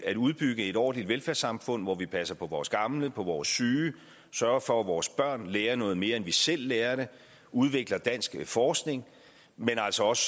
at udbygge et ordentligt velfærdssamfund hvor vi passer på vores gamle på vores syge sørger for at vores børn lærer noget mere end vi selv lærte udvikler dansk forskning men altså også